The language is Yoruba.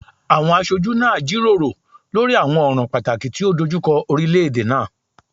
Awọn aṣoju naa jiroro lori awọn ọran pataki ti o dojukọ orilẹ-ede naa